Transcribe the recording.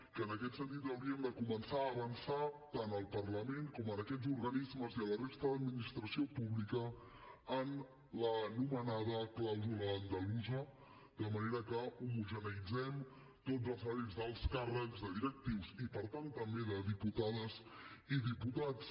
que en aquest sentit hauríem de començar a avançar tant al parlament com a aquests organismes i a la resta d’administració pública en l’anomenada clàusula andalusa de manera que homogeneïtzem tots els salaris d’alts càrrecs de directius i per tant també de diputades i diputats